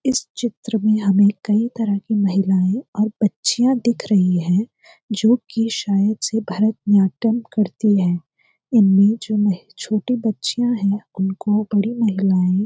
इस चित्र में हमें कई तरह की महिलाएं और बच्चियां दिख रही है जो कि शायद से भरतन्याटम करती हैं इनमें जो छोटी बच्चियां हैं और दो बड़ी महिलाएं --